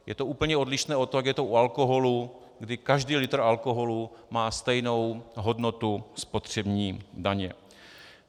Je to úplně odlišné od toho, jak je to u alkoholu, kdy každý litr alkoholu má stejnou hodnotu spotřební daně.